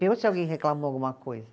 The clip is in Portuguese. Pergunte se alguém reclamou alguma coisa.